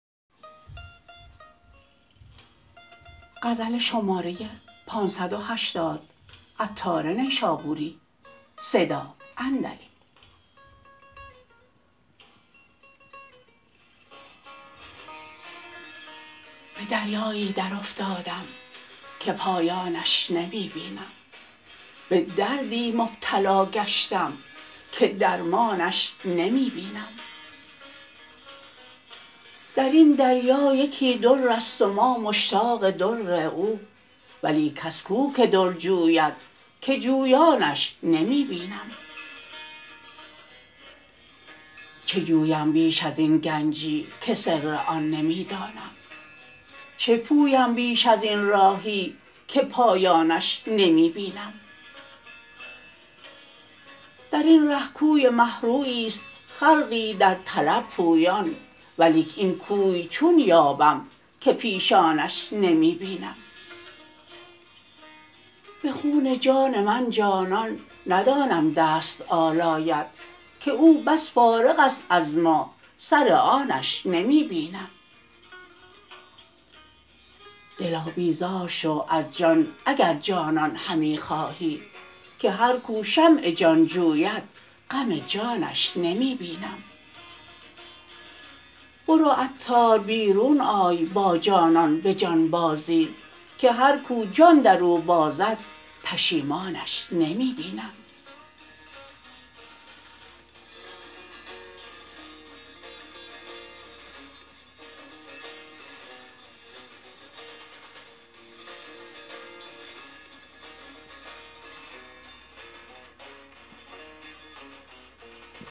به دریایی در افتادم که پایانش نمی بینم به دردی مبتلا گشتم که درمانش نمی بینم در این دریا یکی در است و ما مشتاق در او ولی کس کو که در جوید که جویانش نمی بینم چه جویم بیش ازین گنجی که سر آن نمی دانم چه پویم بیش ازین راهی که پایانش نمی بینم درین ره کوی مه رویی است خلقی در طلب پویان ولیک این کوی چون یابم که پیشانش نمی بینم به خون جان من جانان ندانم دست آلاید که او بس فارغ است از ما سر آنش نمی بینم دلا بیزار شو از جان اگر جانان همی خواهی که هر کو شمع جان جوید غم جانش نمی بینم برو عطار بیرون آی با جانان به جان بازی که هر کو جان درو بازد پشیمانش نمی بینم